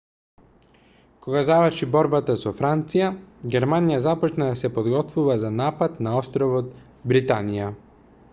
кога заврши борбата со франција германија започна да се подготвува за напад на островот британија